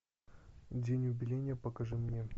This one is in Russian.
день убиения покажи мне